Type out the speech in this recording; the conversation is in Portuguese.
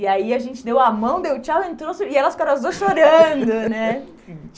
E aí a gente deu a mão, deu tchau, entrou, e elas ficaram as duas chorando, né?